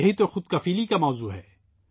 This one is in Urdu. یہ خود انحصاری کا موضوع ہے